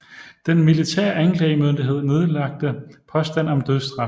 Den militære anklagemyndighed nedlagte påstand om dødsstraf